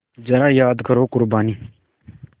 ज़रा याद करो क़ुरबानी